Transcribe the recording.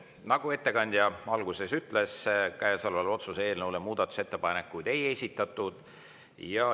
Nagu ettekandja alguses ütles, otsuse eelnõu kohta muudatusettepanekuid ei esitatud.